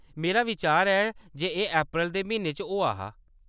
मेरा विचार ​​ऐ जे एह्‌‌ अप्रैल दे म्हीने च होआ हा।